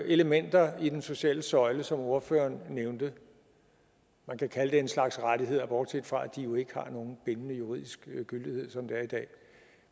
elementer i den sociale søjle som ordføreren nævnte man kan kalde det en slags rettigheder bortset fra at de jo ikke har nogen bindende juridisk gyldighed som det er i dag